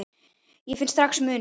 Ég finn strax muninn.